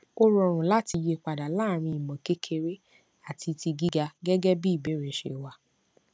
ó rọrùn láti yí padà láàrín imọkekere àti tigíga gẹgẹ bí ìbéèrè ṣe wà